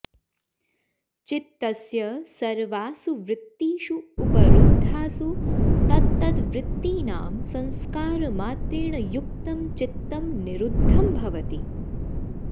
चित्तस्य सर्वासु वृत्तीषु उपरुद्धासु तत्तद्वृत्तीनां संस्कारमात्रेण युक्तं चित्तं निरुद्धं भवति